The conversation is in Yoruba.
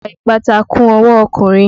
Ìwà ìpátá kún ọwọ́ ọkùnrin.